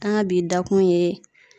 An ka bi da kun ye